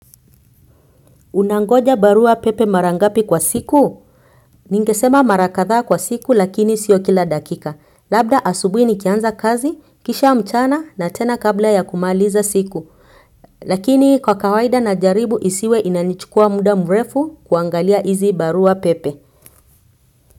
Unangoja barua pepe mara ngapi kwa siku? Ningesema mara kadhaa kwa siku lakini sio kila dakika. Labda asubui nikianza kazi, kisha mchana na tena kabla ya kumaliza siku. Lakini kwa kawaida na jaribu isiwe inanichukua muda mrefu kuangalia izi barua pepe.